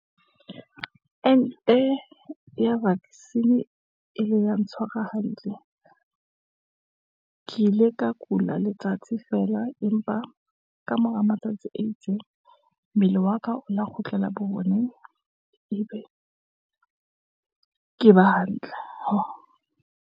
Ente ya vaccine e ile ya ntshwara hantle. Ke ile ka kula letsatsi feela empa ka mora matsatsi a itseng, mmele wa ka o lo kgutlela bo oneng, ebe ke ba hantle.